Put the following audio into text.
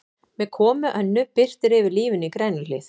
Með komu Önnu birtir yfir lífinu í Grænuhlíð.